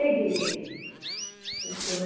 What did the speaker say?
okay रस्त्यावर पण असल्यामुळे